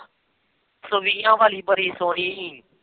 ਇੱਕ ਸੌ ਵੀਹਾਂ ਵਾਲੀ ਬੜੀ ਸੋਹਣੀ ਸੀ।